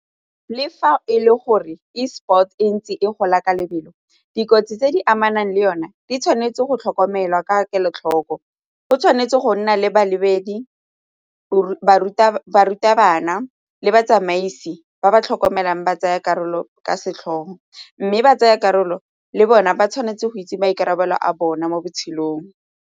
Le fa e le gore Esport e ntse e gola ka lebelo, dikotsi tse di amanang le yone di tshwanetse go tlhokomelwa ka kelotlhoko, go tshwanetse go nna le balebedi, barutabana le batsamaisi ba ba tlhokomelang ba tsaya karolo ka mme ba tsaya karolo le bona ba tshwanetse go itse maikarabelo a bone mo botshelong.